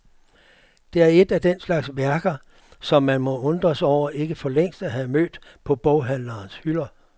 Det er et af den slags værker, som man må undres over ikke for længst at have mødt på boghandlerens hylder.